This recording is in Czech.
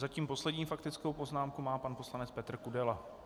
Zatím poslední faktickou poznámku má pan poslanec Petr Kudela.